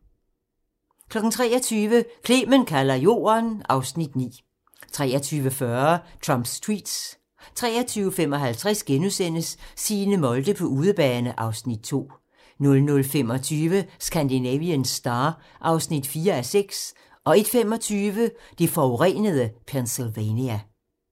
23:00: Clement kalder Jorden (Afs. 9) 23:40: Trumps tweets (tir) 23:55: Signe Molde på udebane (Afs. 2)* 00:25: Scandinavian Star (4:6) 01:25: Det forurenede Pennsylvania